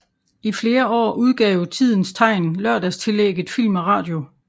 I flere år udgav Tidens Tegn lørdagstillægget Film og radio